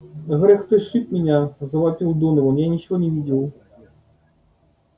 грег ты сшиб меня завопил донован я ничего не видел